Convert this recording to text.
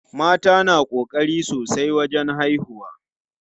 Mata na ƙokari sosai wajen haihuwa.